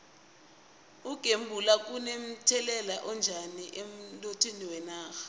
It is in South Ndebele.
ukugembula kuno mthelela onjani emnothweni wenarha